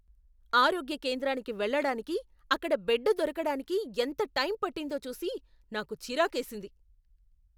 ఆరోగ్య కేంద్రానికి వెళ్లడానికి, అక్కడ బెడ్ దొరకడానికి ఎంత టైం పట్టిందో చూసి నాకు చిరాకేసింది.